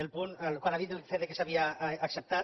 el punt al qual ha dit que s’havia acceptat